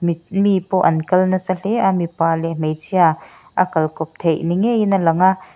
mi pawh an kal nasa hle a mipa leh hmeichhia a kal kawp theih ni ngeiin a lang a.